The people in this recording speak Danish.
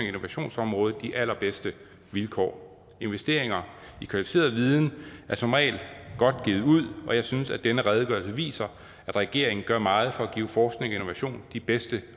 innovationsområdet de allerbedste vilkår investeringer i kvalificeret viden er som regel godt givet ud og jeg synes at denne redegørelse viser at regeringen gør meget for at give forskning og innovation de bedste